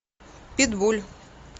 питбуль